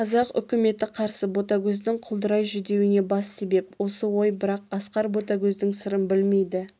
қазақ үкіметі қарсы ботагөздің құлдырай жүдеуіне бас себеп осы ой бірақ асқар ботагөздің сырын білмейді